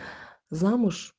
замуж